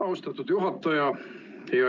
Austatud juhataja!